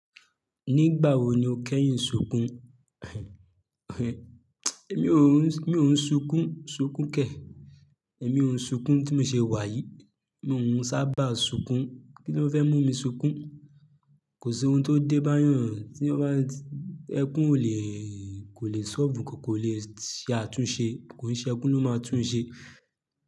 Nígbà wo ni o kẹ́yìn ṣùn kún? Èmi ò ń, èmi ò ń sùn kún, sùn kún kẹ̀. Èmi ò ń sùn kún tí mo ṣe wá yìí. Mi ò ún sábà sùn kún. Kí ló fẹ́ mú mi sùn kún? Kò sí ohun tó dé bá yàn tí ó bá ẹkún ò lè, kò lè solve nǹkan, kò lè ṣe àtúnṣe. Kò ń ṣe ẹkún ló máa tún un ṣe.